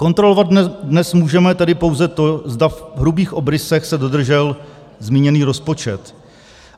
Kontrolovat dnes můžeme tedy pouze to, zda v hrubých obrysech se dodržel zmíněný rozpočet.